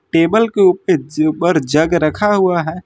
Table के ऊपर jug रखा हुआ है।